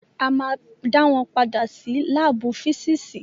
A máa dá wọn padà sí lábù físìsì.